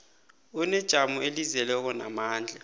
unejamo elizeleko namandla